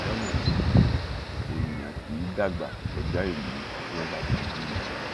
lọnà kejì èèyàn kì í dàgbà kọjá ìlú tí wọn bá ti bí i